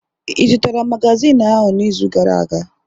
Ị zụtara magazin ahụ n'izu gara aga?